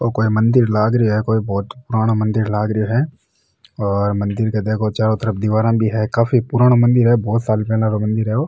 ओ कोई मंदिर लाग रहो है कोई बहोत पुराणों मंदिर लाग रहो है और मंदिर के देखो चारो तरफ दिवारा भी है काफ़ी पुरानो मंदिर है बहुत साल पेला रो मंदिर है ओ।